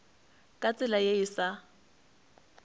ka tsela ye e sa